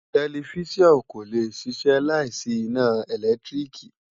Tẹlifísàn kò lè ṣiṣẹ́ láì sí iná ìlẹ́tríìkì